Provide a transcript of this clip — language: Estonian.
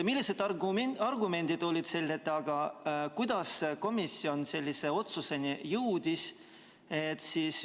Millised argumendid olid selle taga ja kuidas komisjon sellisele otsusele jõudis?